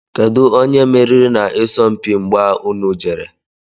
Kedụ onye meriri na isọmpi mgbà ụnụ jere?